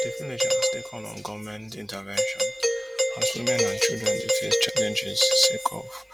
di villagers dey call on goment intervention as women and children dey face challenges sake of